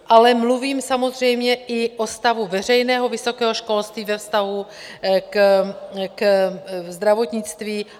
Ale mluvím samozřejmě i o stavu veřejného vysokého školství ve vztahu ke zdravotnictví.